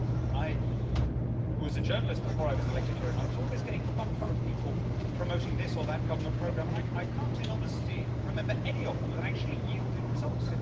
I was a journalist before I was elected here, and I was always getting bumf from people promoting this or that government programme, and I can't in honesty remember any of them that actually yielded results.